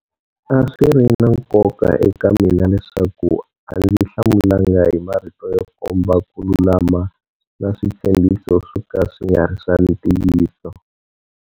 A swiri na nkoka eka mina leswaku a ndzi hlamulanga hi marito yo komba ku lulama na switshembhiso swoka swi nga ri swa ntiyiso.